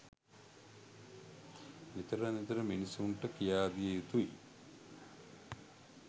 නිතර නිතර මිනිසුන්ට කියා දිය යුතුයි.